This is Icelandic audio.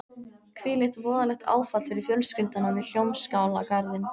Hvílíkt voðalegt áfall fyrir fjölskylduna við Hljómskálagarðinn.